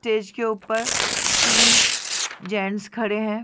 Stage के ऊपर तीन जेंट्स खड़े है।